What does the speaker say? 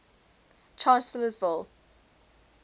chancellorsville